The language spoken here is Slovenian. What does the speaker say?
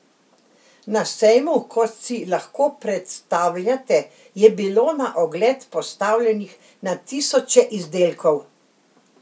Na sejmu, kot si lahko predstavljate, je bilo na ogled postavljenih na tisoče izdelkov.